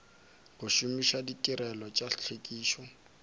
go šomiša ditirelo tša tlhwekišo